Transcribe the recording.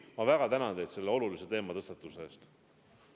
Ma väga tänan teid selle olulise teema tõstatamise eest!